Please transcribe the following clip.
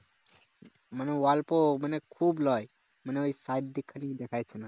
মানে অল্প মানে খুব লয় মানে ওই side দিক টা খালি দেখা যাচ্ছে না।